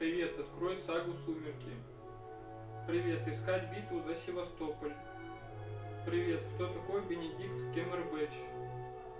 привет открой сагу сумерки привет искать битву за севастополь привет кто такой бенедикт кемербедж